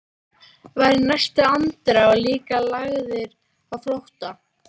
Var í næstu andrá líka lagður á flótta.